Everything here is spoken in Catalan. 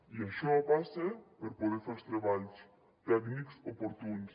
i això passa per poder fer els treballs tècnics oportuns